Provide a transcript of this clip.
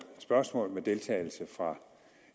spørgsmål med deltagelse fra